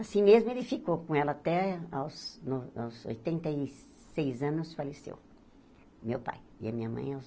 Assim mesmo ele ficou com ela até aos no aos oitenta e seis anos faleceu, meu pai, e a minha mãe aos